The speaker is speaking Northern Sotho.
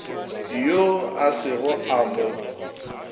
yoo a sego a mo